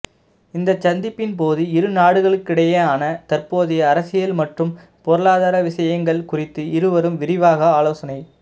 இந்த சந்திப்பின் போது இரு நாடுகளுக்கிடையேயான தற்போதைய அரசியல் மற்றும் பொருளாதார விஷயங்கள் குறித்து இருவரும் விரிவாக ஆலோசனை